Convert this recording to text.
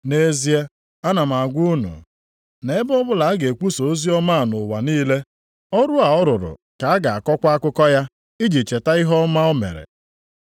Nʼezie, ana m agwa unu, nʼebe ọbụla a ga-ekwusa oziọma a nʼụwa niile, ọrụ a ọ rụrụ ka a ga-akọkwa akụkọ ya, iji cheta ihe ọma a o mere.”